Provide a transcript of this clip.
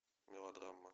мелодрама